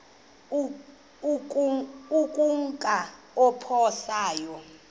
ukumka apho saya